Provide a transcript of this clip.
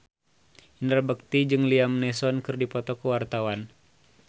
Indra Bekti jeung Liam Neeson keur dipoto ku wartawan